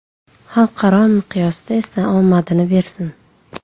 Xalqaro miqyosda esa omadini bersin.